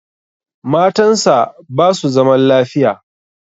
Matan sa basu zaman lafiya